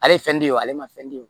Ale ye fɛn di o ale ma fɛn de ye